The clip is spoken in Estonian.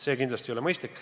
See kindlasti ei ole mõistlik.